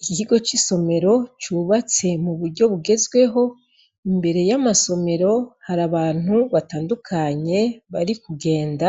Igikigo c'isomero cubatse mu buryo bugezweho imbere y'amasomero hari abantu batandukanye bari kugenda